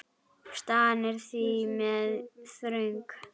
Staðan er því mjög þröng.